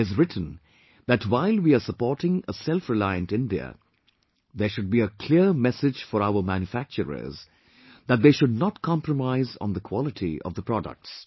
He has written that while we are supporting a selfreliant India, there should be a clear message for our manufacturers that they should not compromise on the quality of the products